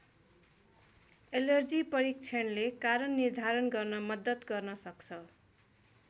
Allergy परीक्षणले कारण निर्धारण गर्न मद्दत गर्न सक्छ।